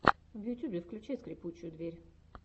в ютьюбе включай скрипучую дверь